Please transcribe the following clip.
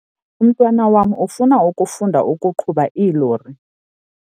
Umntwana wam ufuna ukufunda ukuqhuba iilori.